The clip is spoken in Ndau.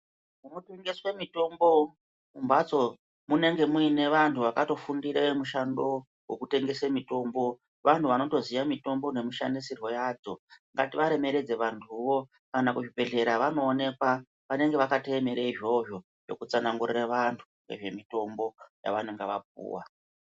Kunotengeswa mitombo kumbatso kunenge kuine vantu vakatofundura mishando yekutengesa mitombo vantu vanoziva mitombo ngativaremedze vantuwo pazvibhedhlera vanoonekwa panenge vakagarira izvozvo zvekudetsera natubnezvimitombo yavakapuwa.